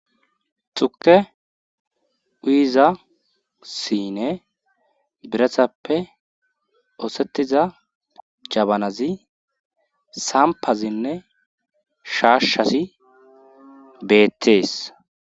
xuke uizasine biratappe oosettiza jabanazi sampazinne shaashshasi beettees